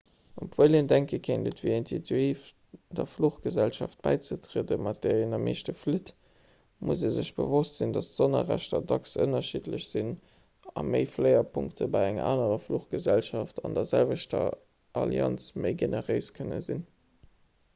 obwuel een denke kéint et wier intuitiv der fluchgesellschaft bäizetrieden mat där een am meeschte flitt muss ee sech bewosst sinn datt d'sonnerrechter dacks ënnerschiddlech sinn a méifléierpunkte bei enger anerer fluchgesellschaft an der selwechter allianz méi generéis kënne sinn